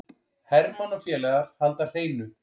Hermann og félagar halda hreinu